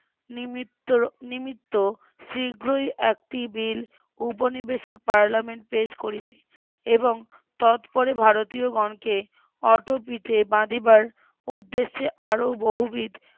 নিমিত্ত নিমিত্ত শীঘ্রই একটি বিল উপনিবেশিক পার্লামেন্ট পেশ করিলে এবং তৎপর ভারতীয়গণকে অটো পিঠে বাধিবার উদ্দেশ্যে আরও বহুবিধ